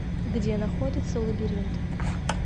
где находится лабиринт